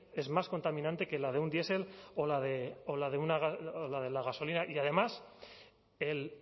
es más contaminante que la de un diesel o la de la gasolina y además el